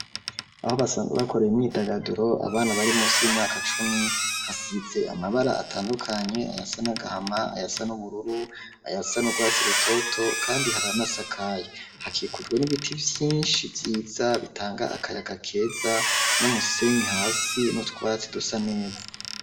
Aho basanzwe bakorera imyidagaduro abana bari munsi y'imyaka cumi hasize amabara atandukanye ayasa n’agahama, ayasa n’ubururu ,ayasa n’urwatsi rutoto kandi haranasakaye ,hakikujwe n'ibiti vyinshi vyiza bitanga akayaga keza n'umusenyi hasi n'utwatsi dusa neza.